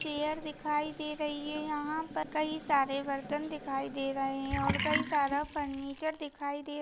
chair दिखाई दे रही है यहाँ पर कही सारे बर्तन दिखाई दे रहे है और कई सारा फ़र्निचर दिखाई दे--